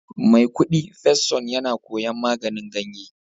Maikudi first son yana koyon maganin ganye